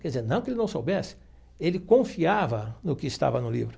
Quer dizer, não que ele não soubesse, ele confiava no que estava no livro.